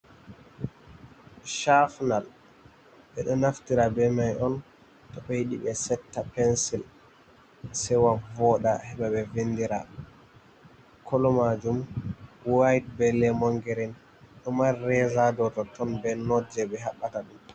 chafinal be ɗo naftira be mai on to be yidi be setta pensil sewa vooɗa. Heba be vinɗira kolomajum wa'ite be lemon girin. Ɗo mari reza ha dow ton be not je be habbata ɗum.